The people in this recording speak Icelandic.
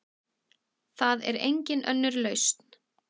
Það er engin önnur lausn.